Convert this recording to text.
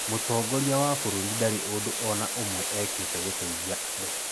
Mũtongoria wa bũrũri ndarĩ ũndũ o na ũmwe eekĩte gũteithia andũ.